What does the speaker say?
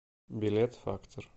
билет фактор